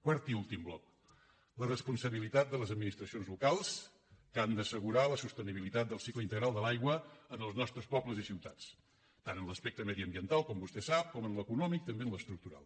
quart i últim bloc la responsabilitat de les administracions locals que han d’assegurar la sostenibilitat del cicle integral de l’aigua en els nostres pobles i ciutats tant en l’aspecte mediambiental com vostè sap com en l’econòmic també en l’estructural